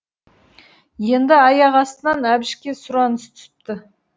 енді аяқ астынан әбішке сұраныс түсіпті